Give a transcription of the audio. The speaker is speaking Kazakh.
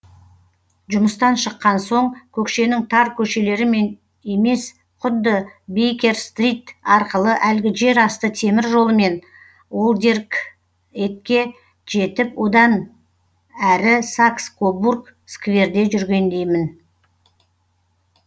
жұмыстан шыққан соң көкшенің тар көшелерімен емес құдды бейкер стрит арқылы әлгі жер асты темір жолымен олдерг етке жетіп одан әрі сакс кобург скверде жүргендеймін